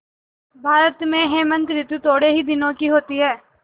भारत में हेमंत ॠतु थोड़े ही दिनों की होती है